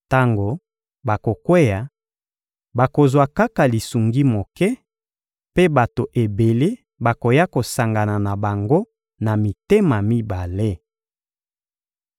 Tango bakokweya, bakozwa kaka lisungi moke, mpe bato ebele bakoya kosangana na bango na mitema mibale.